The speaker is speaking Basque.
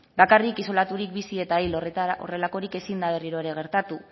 bakarrik isolaturik bizi eta hil horrelakorik ezin da berriro ere gertatu